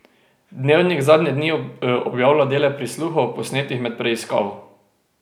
Dnevnik zadnje dni objavlja dele prisluhov, posnetih med preiskavo.